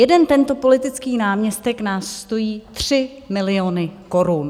Jeden tento politický náměstek nás stojí 3 miliony korun.